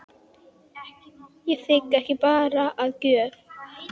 Ég þigg ekki barn að gjöf.